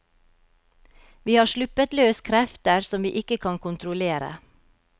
Vi har sluppet løs krefter som vi ikke kan kontrollere.